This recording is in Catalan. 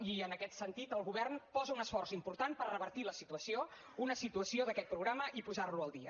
i en aquest sentit el govern posa un esforç important per revertir la situació una situació d’aquest programa i posarlo al dia